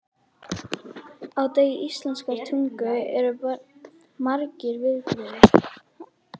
Á degi íslenskrar tungu eru margir viðburðir.